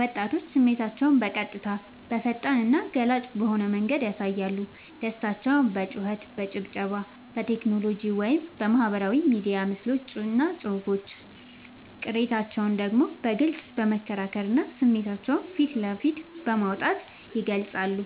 ወጣቶች፦ ስሜታቸውን በቀጥታ: በፈጣንና ገላጭ በሆነ መንገድ ያሳያሉ። ደስታቸውን በጩኸት: በጭብጨባ: በቴክኖሎጂ (በማህበራዊ ሚዲያ ምስሎችና ጽሑፎች): ቅሬታቸውን ደግሞ በግልጽ በመከራከርና ስሜታቸውን ፊት ለፊት በማውጣት ይገልጻሉ።